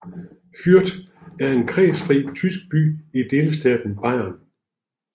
Fürth er en kredsfri tysk by i delstaten Bayern